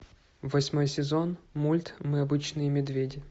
восьмой сезон мульт мы обычные медведи